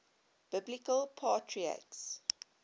biblical patriarchs